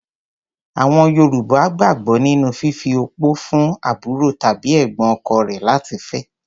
Àọn Yorùbá gbàgbọ́ nínú fífi opó fún àbúrò tàbí ẹ̀gbọ́n ọkọ rẹ̀ láti fẹ́.